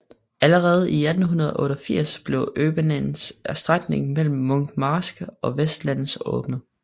Allerede i 1888 blev øbanens strækning mellem Munkmarsk og Vesterland åbnet